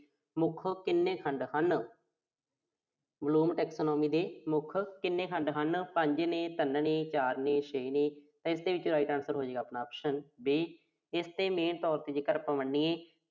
ਮੁੱਖ ਕਿੰਨੇ ਖੰਡ ਹਨ। ਕੁੱਲ ਕਿੰਨੇ ਖੰਡ ਹਨ? ਪੰਜਵੇ-ਪੰਜਵੇਂ, ਚਾਰਵੇਂ, ਛੇਵੇਂ। ਇਸ ਦੇ ਵਿੱਚ right answer ਹੋਵੇਗਾ ਆਪਣਾ option B ਇਸ ਤੇ main